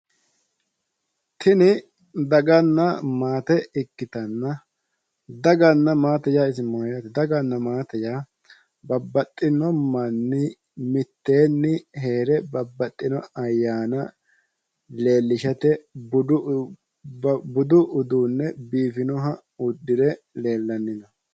Tini daganna maate ikkitanna, daganna maate yaa isi mayyaate? Dagana maate yaa babaxxino manni mitteenni hee're babbaxxino ayyaana leellishate budu uduunne biifinoha uddire leellanno.